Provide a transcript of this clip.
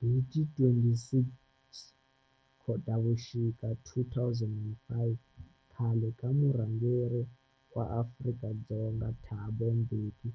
Hi ti 26 Khotavuxika 2005 khale ka murhangeri wa Afrika-Dzonga Thabo Mbeki